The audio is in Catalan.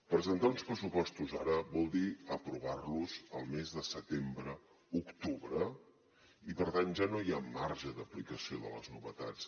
presentar uns pressupostos ara vol dir aprovar los el mes de setembre octubre i per tant ja no hi ha marge d’aplicació de les novetats